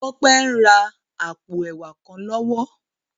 Tope n rá àpó èwá kán lòwò